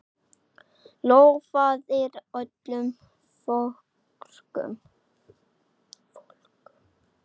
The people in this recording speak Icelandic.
Lofaðir öllu fögru!